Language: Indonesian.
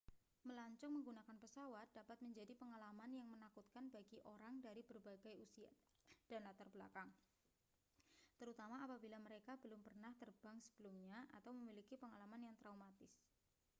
melancong menggunakan pesawat dapat menjadi pengalaman yang menakutkan bagi orang dari berbagai usia dan latar belakang terutama apabila mereka belum pernah terbang sebelumnya atau memiliki pengalaman yang traumatis